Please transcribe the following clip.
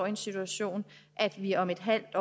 den situation at vi om et halvt